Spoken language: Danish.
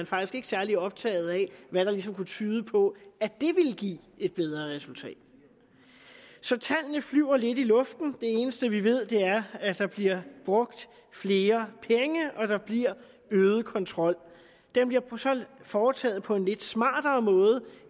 faktisk ikke særlig optaget af hvad der ligesom kunne tyde på at det ville give et bedre resultat så tallene flyver lidt i luften det eneste vi ved er at der bliver brugt flere penge og at der bliver øget kontrol den bliver så foretaget på en lidt smartere måde